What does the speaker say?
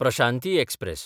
Prashanti express